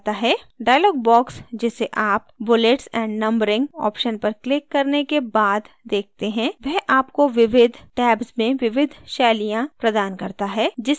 dialog box जिसे आप bullets and numbering option पर क्लिक करने के बाद देखते हैं वह आपको विविध tabs में विविध शैलियाँ styles प्रदान करता है जिसे आप अपने document में लागू कर सकते हैं